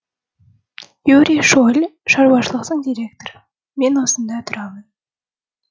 юрий шоль шаруашылық директоры мен осында тұрамын